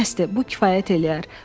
Bəsdir, bu kifayət eləyər.